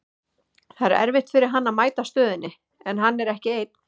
Það er erfitt fyrir hann að mæta stöðunni, en hann er ekki einn.